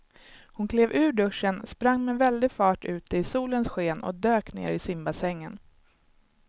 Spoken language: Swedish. Hon klev ur duschen, sprang med väldig fart ut i solens sken och dök ner i simbassängen.